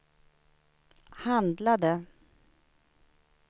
handlade